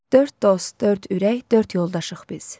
Dörd dost, dörd ürək, dörd yoldaşıq biz.